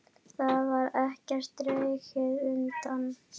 Þar var ekkert dregið undan.